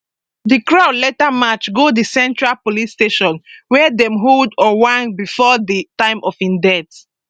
di crowd later march go di central police station wia dem hold ojwang bifor di time of im death